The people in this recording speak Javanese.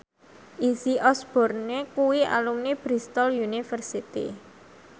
Izzy Osborne kuwi alumni Bristol university